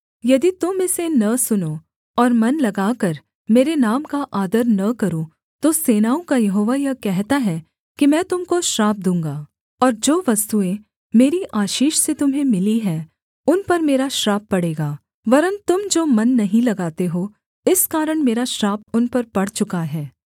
यदि तुम इसे न सुनो और मन लगाकर मेरे नाम का आदर न करो तो सेनाओं का यहोवा यह कहता है कि मैं तुम को श्राप दूँगा और जो वस्तुएँ मेरी आशीष से तुम्हें मिलीं हैं उन पर मेरा श्राप पड़ेगा वरन् तुम जो मन नहीं लगाते हो इस कारण मेरा श्राप उन पर पड़ चुका है